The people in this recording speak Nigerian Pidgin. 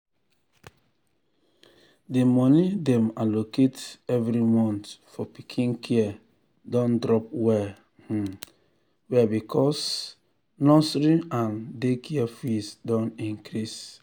the money dem allocate every month for pikin care don drop well um well because um nursery and daycare fees don increase.